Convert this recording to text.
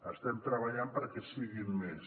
estem treballant perquè en siguin més